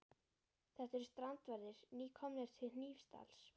Þetta eru strandverðir, nýkomnir til Hnífsdals.